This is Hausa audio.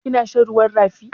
Kina shan ruwan rafi?